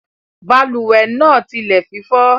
Balùwè náà tile fífó